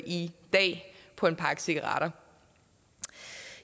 i dag på en pakke cigaretter